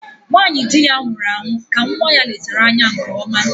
Nwanyị dị ya nwụrụ ahụ ka nwa ya letara anya nke ọma